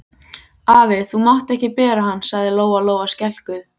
Afi, þú mátt ekki bera hann, sagði Lóa Lóa skelkuð.